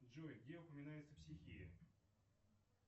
джой где упоминается психея